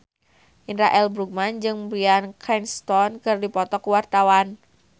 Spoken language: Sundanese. Indra L. Bruggman jeung Bryan Cranston keur dipoto ku wartawan